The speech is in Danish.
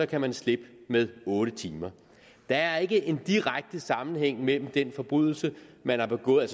kan slippe med otte timer der er ikke en direkte sammenhæng mellem størrelsen af den forbrydelse man har begået